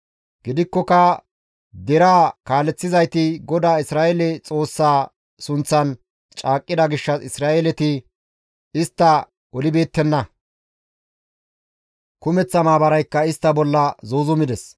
Gidikkoka deraa kaaleththizayti GODAA Isra7eele Xoossaa sunththan caaqqida gishshas Isra7eeleti istta olibeettenna; kumeththa maabaraykka istta bolla zuuzumides.